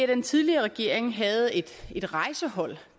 den tidligere regering havde et et rejsehold